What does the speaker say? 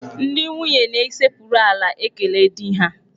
Ndị nwunye na-esekpuru ala ekele di ha.